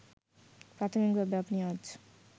প্রাথমিকভাবে আপনি আজ